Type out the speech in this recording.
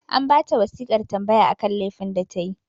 An ba ta wasiƙar tambaya akan lefin da ta yi